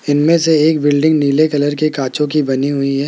इनमें से एक बिल्डिंग नीले कलर के कांचों की बनी हुई है।